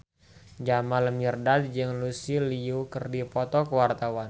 Jamal Mirdad jeung Lucy Liu keur dipoto ku wartawan